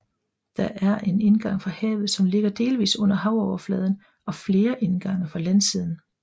Der er en indgang fra havet som ligger delvis under havoverfladen og flere indgange fra landsiden